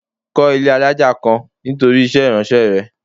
Kó ilé alájà kan nítorí iṣẹ́ ìránṣẹ́ rẹ.